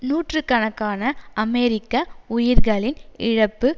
நூற்று கணக்கான அமெரிக்க உயிர்களின் இழப்பு